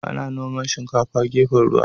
Ana noman shinkafa a gefen ruwa.